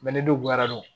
ne dun bonyara n